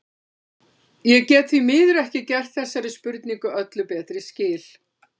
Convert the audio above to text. Ég get því miður ekki gert þessari spurningu öllu betri skil.